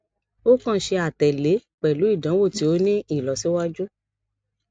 o kan ṣe atẹle pẹlu idanwo ti o ni ilọsiwaju